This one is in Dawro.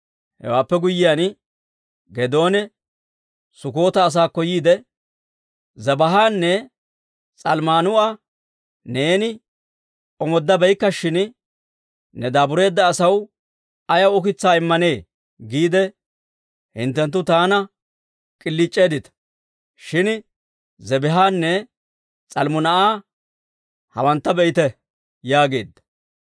Hewaappe guyyiyaan, Geedooni Sukkoota asaakko yiide, « ‹Zebaahanne S'almmunaa'a neeni omooddabeykkashin, ne daabureedda asaw ayaw ukitsaa immanee?› giide hinttenttu taana k'iliic'eeddita; shin Zebaahanne S'almmunaa'a hawantta be'ite» yaageedda.